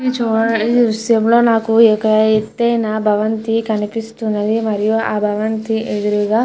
ఇది చూడ ఈ దృశ్యం లో నాకు అయితే ఒక భవంతి కనిపిస్తున్నది. మరియు ఆ భవంతి ఎదురుగా --